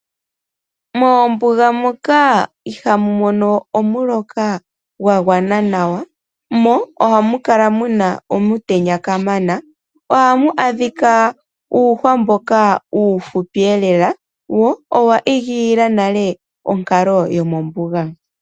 Moombuga moka ihaamu mono omuloka gwa gwana nawa, mo ohamu kala mu na omutenya kamana. Ohamu adhika uuhwa mboka uufupi lela wo owa igilila nale onkalo yomombuga.